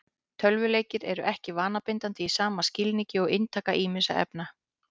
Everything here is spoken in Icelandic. Tölvuleikir eru ekki vanabindandi í sama skilningi og inntaka ýmissa efna.